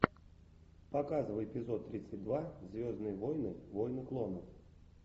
показывай эпизод тридцать два звездные войны войны клонов